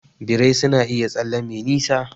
Birrai suna iya tsalle me nisa.